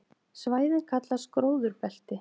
Svæðin kallast gróðurbelti.